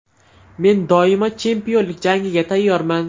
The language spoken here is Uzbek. Men doimo chempionlik jangiga tayyorman.